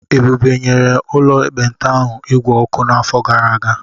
Ebube nyere ụlọ ekpenta ahụ igwe ọkụ n'afọ gara aga.